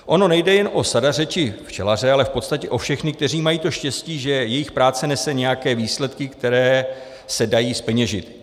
Ono nejde jen o sadaře či včelaře, ale v podstatě o všechny, kteří mají to štěstí, že jejich práce nese nějaké výsledky, které se dají zpeněžit.